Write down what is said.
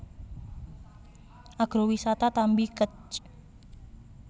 Agrowisata Tambi Kec